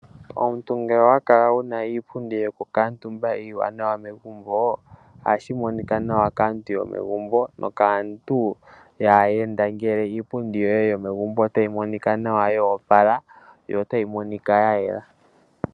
Omuntu ngele owa kala wuna iipundi yoku katumba iiwanawa megumbo, ohashi monika nawa kaantu yomegumbo, nokaantu yaahenda, ngele iipundi yoye yomegumbo otayi monika nawa ya opala, yo otayi monika nawa ya yela.